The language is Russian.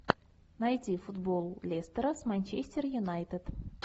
найди футбол лестера с манчестер юнайтед